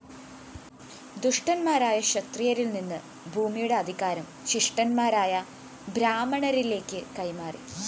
ദുഷ്ടന്മാരായ ക്ഷത്രിയരില്‍ നിന്ന് ഭൂമിയുടെ അധികാരം ശിഷ്ടന്മാരായ ബ്രാഹ്മണരിലേക്ക് കൈമാറി